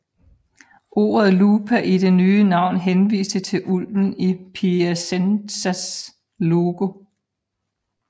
Ordet Lupa i det nye navn henviste til ulven i Piacenzas logo